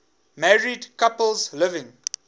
married couples living